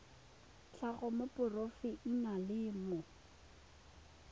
tlhago wa moporofe enale mo